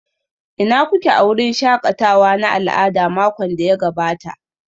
Ina kuke a wurin shakatawa na al'adu makon da ya gabata?